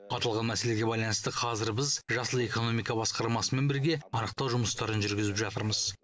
аталған мәселеге байланысты қазір біз жасыл экономика басқармасымен бірге анықтау жұмыстарын жүргізіп жатырмыз